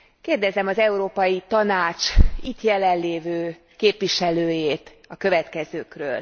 Kérdezem az Európai Tanács itt jelenlévő képviselőjét a következőkről.